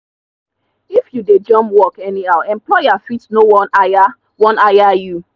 if you dey jump work anyhow employer fit no wan hire wan hire you.